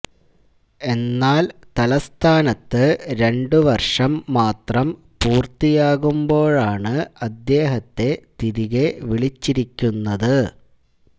എന്നാല് തല്സ്ഥാനത്ത് രണ്ടു വര്ഷം മാത്രം പൂര്ത്തിയാകുമ്പോഴാണ് അദ്ദേഹത്തെ തിരികെ വിളിച്ചിരിക്കുന്നത്